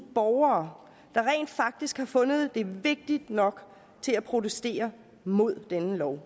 borgere der rent faktisk har fundet det vigtigt nok at protestere mod denne lov